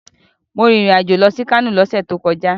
Mo rìn ìrìn-àjò lọ sí Kano lọ́sẹ̀ tó kọjá.